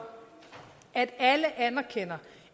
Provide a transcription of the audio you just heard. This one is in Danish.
at alle anerkender